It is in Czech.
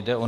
Jde o